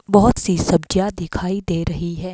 बहुत सी सब्जियां दिखाई दे रही हैं।